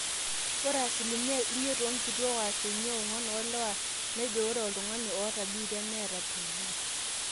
ore asilimia imiet oonkituaak o asilimia ong'wan oolewa nejo ore oltung'ani oota biitia neeta tb